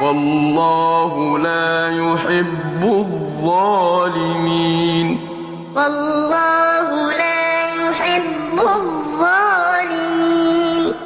وَاللَّهُ لَا يُحِبُّ الظَّالِمِينَ إِن يَمْسَسْكُمْ قَرْحٌ فَقَدْ مَسَّ الْقَوْمَ قَرْحٌ مِّثْلُهُ ۚ وَتِلْكَ الْأَيَّامُ نُدَاوِلُهَا بَيْنَ النَّاسِ وَلِيَعْلَمَ اللَّهُ الَّذِينَ آمَنُوا وَيَتَّخِذَ مِنكُمْ شُهَدَاءَ ۗ وَاللَّهُ لَا يُحِبُّ الظَّالِمِينَ